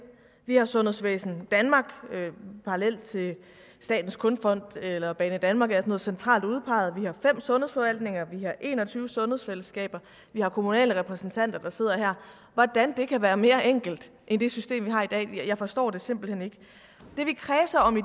vi har sundhedsvæsen danmark en parallel til statens kunstfond eller banedanmark altså noget centralt udpeget vi har fem sundhedsforvaltninger vi har en og tyve sundhedsfællesskaber vi har kommunale repræsentanter der sidder her hvordan kan det være mere enkelt end det system vi har i dag jeg forstår det simpelt hen ikke det vi kredser om i